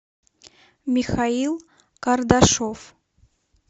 михаил кардашов